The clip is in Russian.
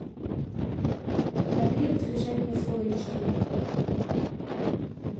набери в движении фул эйч ди